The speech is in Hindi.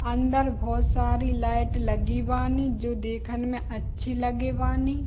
अंदर बहुत सारी लाइट लगी बानी जो देखन में अच्छी लगे बानी।